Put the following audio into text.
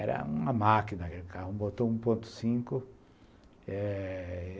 Era uma máquina, botão um ponto cinco